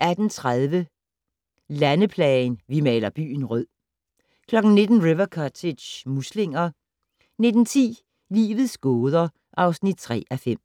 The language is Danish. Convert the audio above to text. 18:30: Landeplagen - "Vi maler byen rød" 19:00: River Cottage - muslinger 19:10: Livets gåder (3:5)